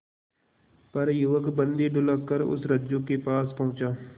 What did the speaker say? पर युवक बंदी ढुलककर उस रज्जु के पास पहुंचा